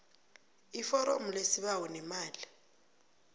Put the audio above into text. iforomo lesibawo nemali